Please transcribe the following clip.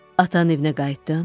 Atanın evinə qayıtdın?